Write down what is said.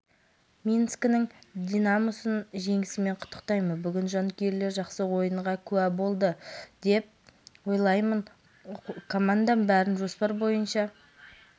кездесудің соңғы бөлігінде эдуард занковец шәкірттері қорғаныста сақ қимылдап шабуылда сауатты ойнады алайда орайы келген сәттер ұйымдастырылғанмен жерлестеріміздің уысынан суси берді